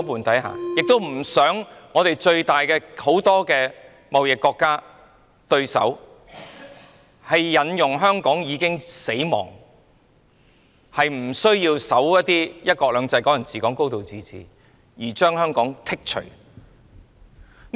我們也不想最重要的貿易夥伴或對手，指明"香港已死"，不遵守"一國兩制"、"港人治港"及"高度自治"，因而把香港排除在外。